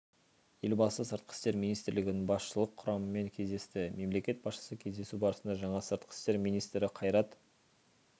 елбасы сыртқы істер министрлігінің басшылық құрамымен кездесті мемлекет басшысы кездесу барысында жаңа сыртқы істер министрі қайрат